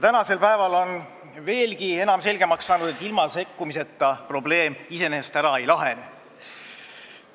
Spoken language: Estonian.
Tänaseks päevaks on veelgi enam selgeks saanud, et ilma sekkumiseta probleem iseenesest ära ei lahene.